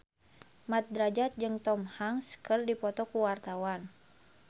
Mat Drajat jeung Tom Hanks keur dipoto ku wartawan